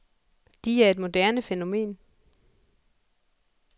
De er et moderne fænomen.